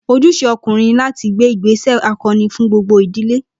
Ojúṣe ọkùnrin ní láti gbé ìgbéṣẹ̀ akọni fún gbogbo ìdílé